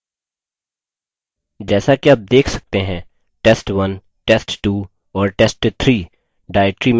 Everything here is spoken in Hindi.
जैसा कि आप देख सकते हैं test1 test2 और test3 directory में मौजूद हैं